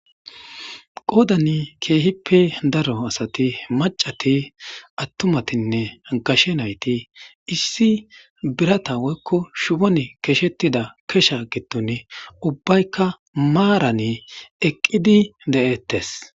Qodanni kehippe daro asati macati atumatinne gashee nayiti issi birata woyikko shubbonni keshshetida keshsha giddonni ubbayikka maranni eqqidi de'etees.